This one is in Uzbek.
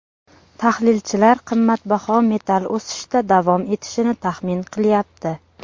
Tahlilchilar qimmatbaho metall o‘sishda davom etishini taxmin qilyapti.